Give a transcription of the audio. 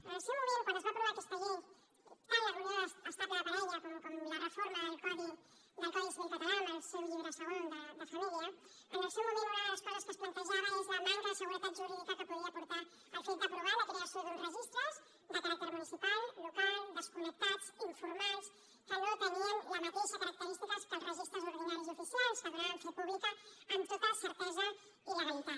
en el seu moment quan es va aprovar aquesta llei tant la d’unió estable de parella com la reforma del codi civil català amb el seu llibre segon de família una de les coses que es plantejava era la manca de seguretat jurídica que podia portar el fet d’aprovar la creació d’uns registres de caràcter municipal local desconnectats informals que no tenien les mateixes característiques que els registres ordinaris i oficials que donaven fe pública amb tota certesa i legalitat